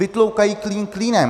Vytloukají klín klínem.